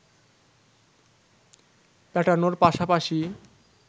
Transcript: পেটানোর পাশাপাশি